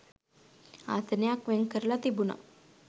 ආසනයක් වෙන් කරලා තිබුණා.